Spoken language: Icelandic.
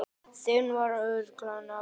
Þinn bróðir, Arnór Bjarki.